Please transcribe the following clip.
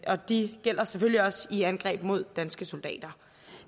og de gælder selvfølgelig også i angreb mod danske soldater